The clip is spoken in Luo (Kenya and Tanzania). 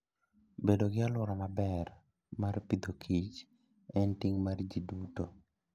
Bedo gi alwora maber mar pidhokich en ting' mar ji duto.